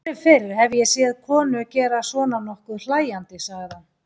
Aldrei fyrr hef ég séð konu gera svona nokkuð hlæjandi, segir hann.